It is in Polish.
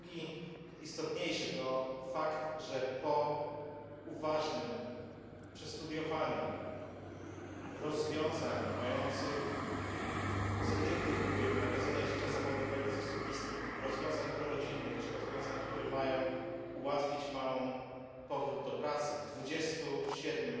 drugi istotniejszy to fakt, że po uważnym przestudiowaniu rozwiązań mających pozytywny wpływ na godzenie życia zawodowego z osobistym, rozwiązań prorodzinnych czy rozwiązań, które mają ułatwić mamom powrót do pracy w 27